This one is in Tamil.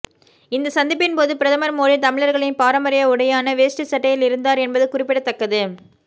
இந்த சந்திப்பின்போது பிரதமர் மோடி தமிழர்களின் பாரம்பரிய உடையான வேஷ்டி சட்டையில் இருந்தார் என்பது குறிப்பிடத்தக்கது